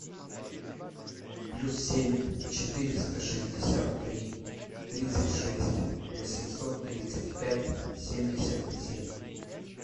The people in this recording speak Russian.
плюс семь четыреста шестьдесят три тридцать шесть восемьсот тридцать пять семьдесят семь